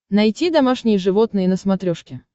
найти домашние животные на смотрешке